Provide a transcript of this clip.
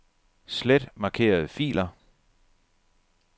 Slet markerede filer.